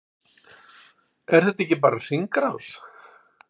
Er þetta ekki bara hringrás?